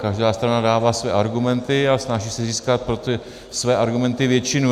Každá strana dává své argumenty a snaží se získat pro ty své argumenty většinu.